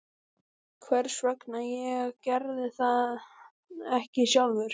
Hvers vegna ég gerði það ekki sjálfur?